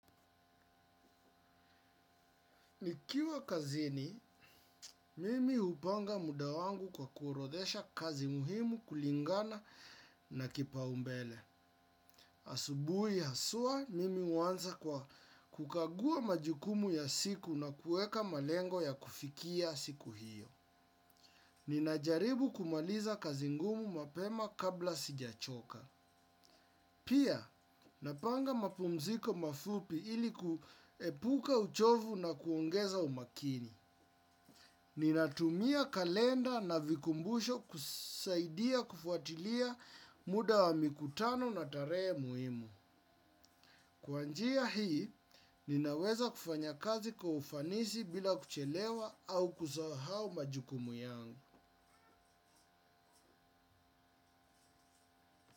Nikiwa kazini, mimi upanga muda wangu kwa kuorodhesha kazi muhimu kulingana na kipaumbele. Asubui haswa, mimi uanza kwa kukagua majukumu ya siku na kuweka malengo ya kufikia siku hiyo. Ninajaribu kumaliza kazi ngumu mapema kabla sijachoka. Pia, napanga mapumziko mafupi ili kuepuka uchovu na kuongeza umakini. Ninatumia kalenda na vikumbusho kusaidia kufuatilia muda wa mikutano na tarehe muhimu. Kwa njia hii, ninaweza kufanya kazi kwa ufanisi bila kuchelewa au kusahau majukumu yangu.